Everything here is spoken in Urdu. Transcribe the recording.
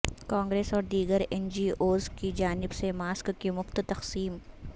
کانگریس اور دیگر این جی اوز کی جانب سے ماسک کی مفت تقسیم